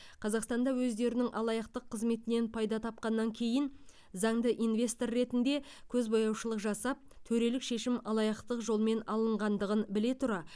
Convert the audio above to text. қазақстанда өздерінің алаяқтық қызметінен пайда тапқаннан кейін заңды инвестор ретінде көзбояушылық жасап төрелік шешім алаяқтық жолмен алынғандығын біле тұра